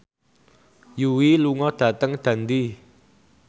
Yui lunga dhateng Dundee